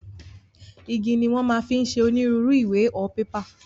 Igi ni wọn máa fi ń ṣe onírúurú ìwé/pépà